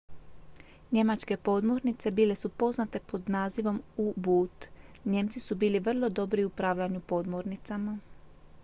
njemačke podmornice bile su poznate pod nazivom u-boot nijemci su bili vrlo dobri u upravljanju podmornicama